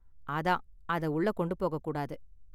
அதான் அத உள்ள கொண்டு போகக் கூடாது